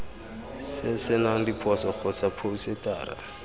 se senang diphoso kgotsa phousetara